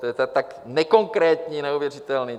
To je tak nekonkrétní, neuvěřitelné!